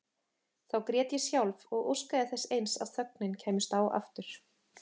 Þá grét ég sjálf og óskaði þess eins að þögnin kæmist á aftur.